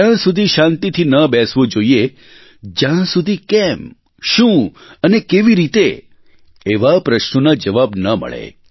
ત્યાં સુધી શાંતિથી ન બેસવું જોઇએ જ્યાં સુધી કેમ શું અને કેવી રીતેએવા પ્રશ્નોના જવાબ ન મળે